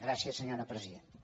gràcies senyora presidenta